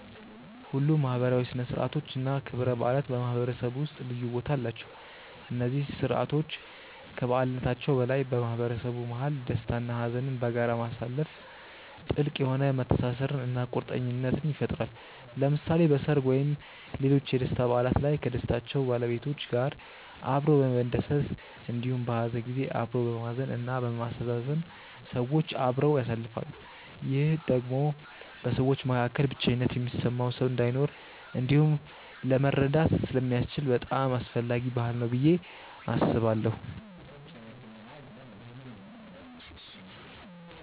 ሁሉም ማህበራዊ ሥነ ሥርዓቶች እና ክብረ በዓላት በማህበረሰቡ ውስጥ ልዩ ቦታ አላቸው። እነዚህ ስርዓቶች ከበዓልነታቸው በላይ በማህበረሰቡ መሀል ደስታ እና ሀዘንን በጋራ ማሳለፋ ጥልቅ የሆነ መተሳሰርን እና ቁርኝትን ይፈጥራል። ለምሳሌ በሰርግ ወይም ሌሎች የደስታ በዓላት ላይ ከደስታው ባለቤቶች ጋር አብሮ በመደሰት እንዲሁም በሀዘን ጊዜ አብሮ በማዘን እና በማስተዛዘን ሰዎች አብረው ያሳልፋሉ። ይህም ደግሞ በሰዎች መካከል ብቸኝነት የሚሰማው ሰው እንዳይኖር እንዲሁም ለመረዳዳት ስለሚያስችል በጣም አስፈላጊ ባህል ነው ብዬ አስባለሁ።